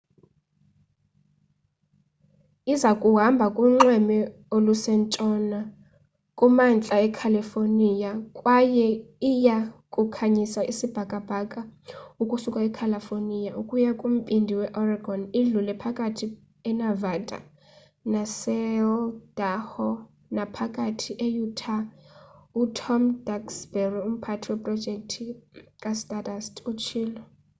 iza kuhamba kunxweme olusentshona kumantla ecalifornia kwaye iya kukhanyisa isibhakabhaka ukusuka ecalifornia ukuya kumbindi weoregon idlule phakathi enevada naseidaho naphakathi e-utah utom duxbury umphathi weprojekthi kastardust utshilo